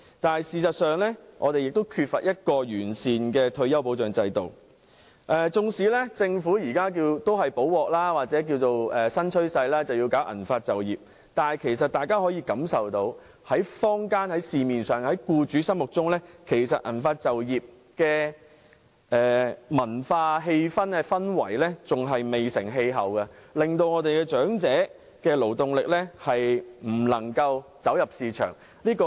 但事實上，我們缺乏完善的退休保障制度，即使政府現時亡羊補牢，推動銀髮就業，但大家可以感受到，在社會上和僱主心目中，銀髮就業的文化仍然未成氣候，令長者的勞動力未能走入市場。